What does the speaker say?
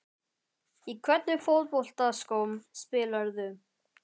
Í hvernig fótboltaskóm spilarðu?